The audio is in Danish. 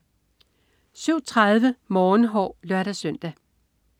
07.30 Morgenhår (lør-søn)